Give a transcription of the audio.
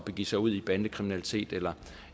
begive sig ud i bandekriminalitet eller